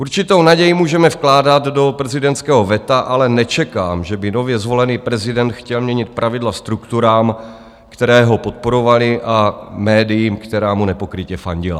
Určitou naději můžeme vkládat do prezidentského veta, ale nečekám, že by nově zvolený prezident chtěl měnit pravidla strukturám, které ho podporovaly, a médiím, která mu nepokrytě fandila.